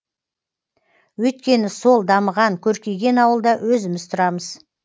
өйткені сол дамыған көркейген ауылда өзіміз тұрамыз